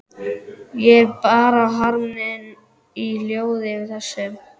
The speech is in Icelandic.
Ég bar harm minn í hljóði yfir þessu.